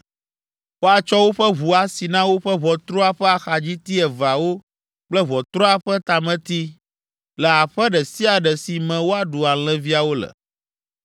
woatsɔ woƒe ʋu asi na woƒe ʋɔtrua ƒe axadziti eveawo kple ʋɔtrua ƒe tameti le aƒe ɖe sia ɖe si me woaɖu alẽviawo le.